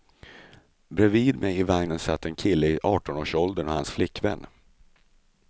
Bredvid mig i vagnen satt en kille i artonårsåldern och hans flickvän.